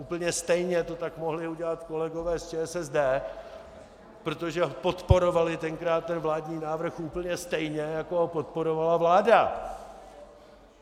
Úplně stejně to tak mohli udělat kolegové z ČSSD, protože podporovali tenkrát ten vládní návrh úplně stejně, jako ho podporovala vláda.